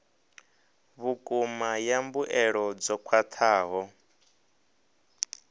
vhukuma ya mbuelo dzo khwathaho